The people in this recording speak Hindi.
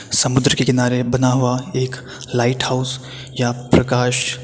समुद्र के किनारे बना हुआ एक लाईट हाउस या प्रकाश --